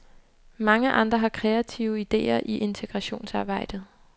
Mange andre har kreative idéer i integrationsarbejdet.